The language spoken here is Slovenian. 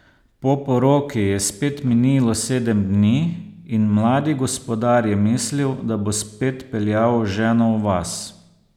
Po poroki je spet minilo sedem dni in mladi gospodar je mislil, da bo spet peljal ženo v vas.